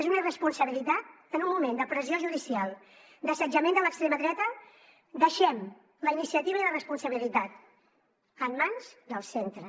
és una irresponsabilitat en un moment de pressió judicial d’assetjament de l’extrema dreta deixem la iniciativa i la responsabilitat en mans dels centres